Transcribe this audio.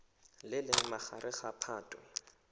le leng magareng ga phatwe